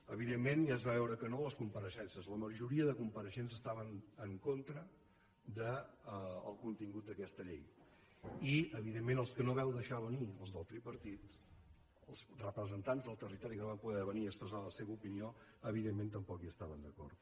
evidentment ja es va veure que no a les compareixences la majoria de compareixents estaven en contra del contingut d’aquesta llei i evidentment els que no vau deixar venir els del tripartit els representants del territori que no van poder venir a expressar la seva opinió tampoc hi estaven d’acord